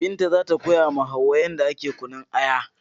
Binta zata koyawa Hauwa'u yadda ake kunnun Aya